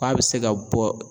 Ko a bɛ se ka bɔ